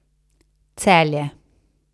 Celje.